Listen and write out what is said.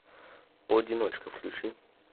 одиночка включи